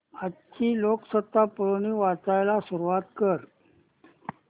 आजची लोकसत्ता पुरवणी वाचायला सुरुवात कर